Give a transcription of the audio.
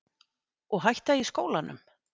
Og hætta í skólanum?